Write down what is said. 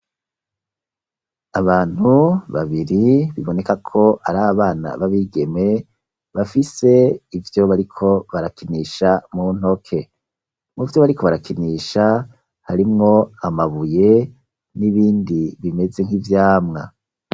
Abantu babiri biboneka ko ari abana babigeme bafise ivyo bariko barakinisha mu ntoke. Mu vyo bariko barakinisha harimwo amabuye n'ibindi bimeze nk'ivyamwa.